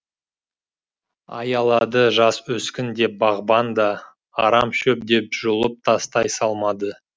аялады жас өскін деп бағбан да арам шөп деп жұлып тастай салмады